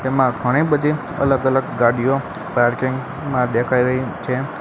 તેમાં ઘણી બધી અલગ અલગ ગાડીઓ પાર્કિંગ માં દેખાય રહી છે.